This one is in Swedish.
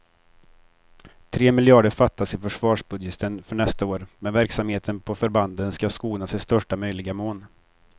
Tre miljarder fattas i försvarsbudgeten för nästa år, men verksamheten på förbanden ska skonas i största möjliga mån.